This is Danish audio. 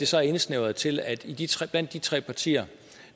så indsnævret til at blandt de tre partier